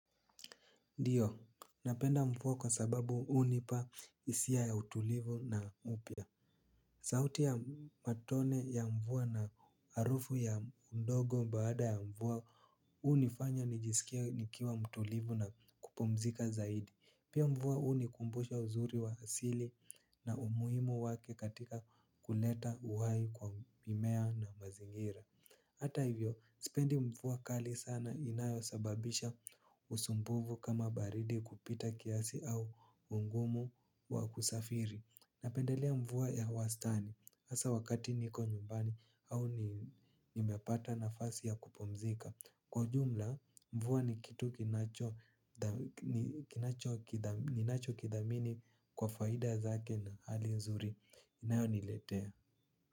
Ndiyo, napenda mvua kwa sababu hunipa hisia ya utulivu na upya. Sauti ya matone ya mvua na harufu ya udongo baada ya mvua hunifanya nijisikie nikiwa mtulivu na kupumzika zaidi. Pia mvua hunikumbusha uzuri wa asili na umuhimu wake katika kuleta uhai kwa mimea na mazingira. Hata hivyo, sipendi mvua kali sana inayo sababisha usumbufu kama baridi kupita kiasi au ugumu wa kusafiri. Napendelea mvua ya wastani, asa wakati niko nyumbani au nimepata na fasi ya kupumzika. Kwa jumla, mvua ni kitu kinacho kithamini kwa faida zake na hali nzuri, inayo niletea.